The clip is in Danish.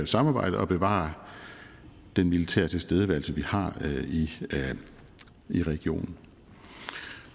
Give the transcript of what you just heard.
samarbejde og bevare den militære tilstedeværelse vi har i regionen